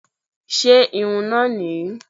Ṣé irú irun náà nìyí?